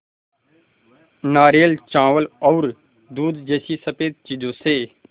नारियल चावल और दूध जैसी स़फेद चीज़ों से